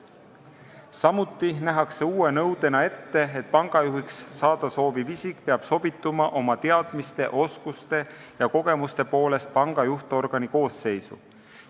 Samuti nähakse uue nõudena ette, et pangajuhiks saada sooviv isik peab oma teadmiste, oskuste ja kogemuste poolest sobituma panga juhtorgani koosseisu.